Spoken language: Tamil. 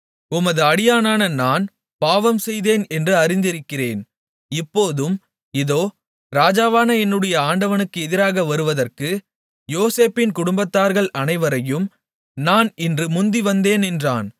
உமது அடியானான நான் பாவம்செய்தேன் என்று அறிந்திருக்கிறேன் இப்போதும் இதோ ராஜாவான என்னுடைய ஆண்டவனுக்கு எதிராக வருவதற்கு யோசேப்பின் குடும்பத்தார்கள் அனைவரையும் நான் இன்று முந்தி வந்தேன் என்றான்